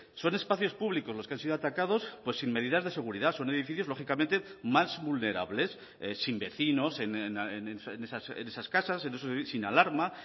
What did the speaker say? son espacios públicos los que han sido atacados pues sin medidas de seguridad son edificios lógicamente más vulnerables sin vecinos en esas casas sin alarma